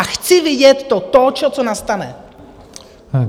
A chci vidět to tóčo, co nastane.